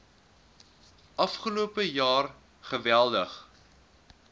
afgelope jaar geweldig